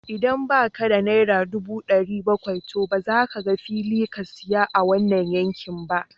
Idan ba ka da naira ɗubu ɗari bakwai, to ba za ka ga fili ka saya a wannan yanki ba